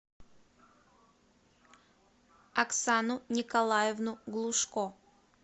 оксану николаевну глушко